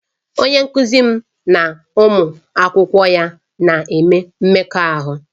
Onye nkuzi m na ụmụ akwụkwọ ya na-eme mmekọahụ